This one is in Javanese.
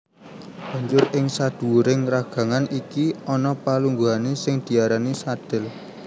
Banjur ing sadhuwuring ragangan iki ana palungguhané sing diarani sadhel